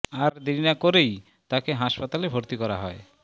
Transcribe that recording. আর দেরি না করেই তাঁকে হাসপাতালে ভর্তি করা হয়